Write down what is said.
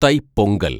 Thai Pongal‍